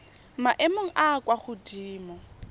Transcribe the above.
maemong a a kwa godimo